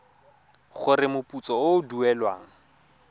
gore moputso o o duelwang